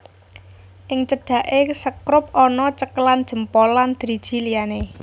Ing cedhake sekrup ana cekelan jempol lan driji liyane